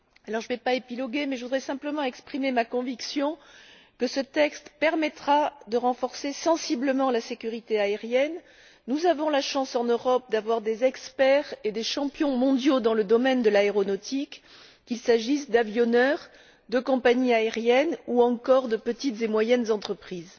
Je ne vais pas épiloguer, mais je voudrais simplement exprimer ma conviction que ce texte permettra de renforcer sensiblement la sécurité aérienne. Nous avons la chance en Europe d'avoir des experts et des champions mondiaux dans le domaine de l'aéronautique, qu'il s'agisse d'avionneurs, de compagnies aériennes ou encore de petites et moyennes entreprises.